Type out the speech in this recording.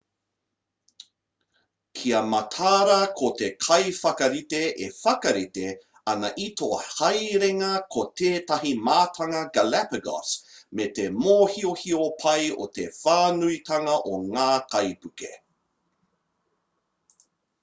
kia mataara ko te kaiwhakarite e whakarite ana i tō haerenga ko tētahi mātanga galapagos me te mōhiohio pai o te whānuitanga o ngā kaipuke